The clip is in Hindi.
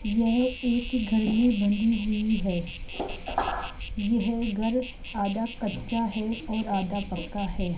यह एक घर में बंधी हुई है यह घर आधा कच्चा है और आधा पक्का है।